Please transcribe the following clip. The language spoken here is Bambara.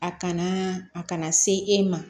A kana a kana se e ma